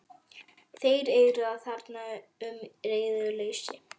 Þeir eigruðu þarna um í reiðuleysi.